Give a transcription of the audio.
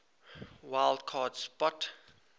wild card spot